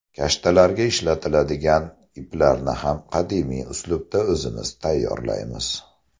Kashtalarga ishlatiladigan iplarni ham qadimiy uslubda o‘zimiz tayyorlaymiz.